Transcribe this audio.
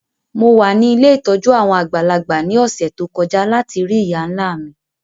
Mo wa ni ilé ìtójú àwon àgbàlagbà ni ọ̀ṣẹ̀ to kọja lati rii ìyá-nla mi.